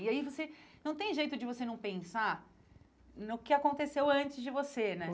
E aí você, não tem jeito de você não pensar no que aconteceu antes de você, né?